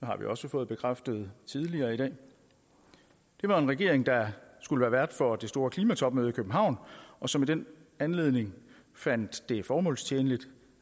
har vi også fået bekræftet tidligere i dag det var en regering der skulle være vært for det store klimatopmøde i københavn og som i den anledning fandt det formålstjenligt